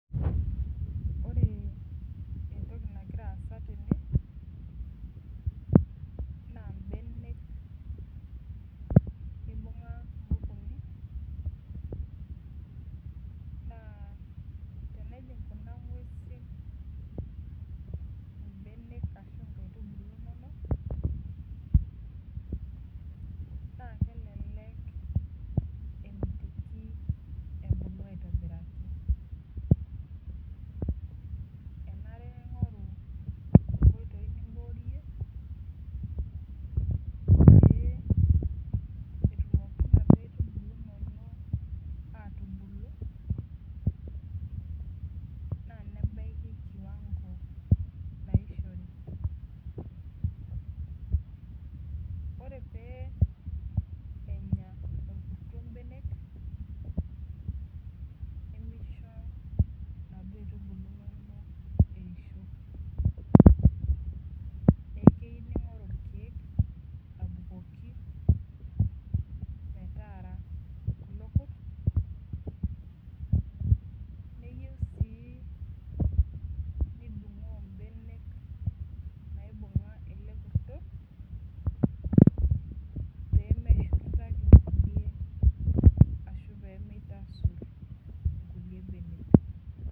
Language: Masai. Ore entokinagira asaa tene naa mbenek eibunga nkukuni naa tenijig Kuna ng'uesi mbenek ashu nkaitubulu enono na kelelek nemitiki ebulu aitobiraki enare ning'oru nkoitoi niborie pee etumoki nkaitubulu atubulu naa nebaiki kiwango naiyishore ore pee Enya orkurto mbenek nimisho naaduo aitubulu eiyisho neeku keyieu ning'oru irkeek abukoki metaara lelo Kurt neyieu sii nidungoo mbenek naibung'a ele kurto pee meshurto nkulie ashu pee mitasur nkulie mbenek